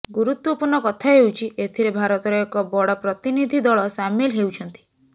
ଗୁରୁତ୍ୱପୂର୍ଣ୍ଣ କଥା ହେଉଛି ଏଥିରେ ଭାରତର ଏକ ବଡ ପ୍ରତିନିଧି ଦଳ ସାମିଲ ହେଉଛନ୍ତି